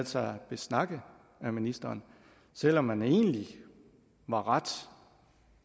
sig besnakke af ministeren selv om man egentlig var ret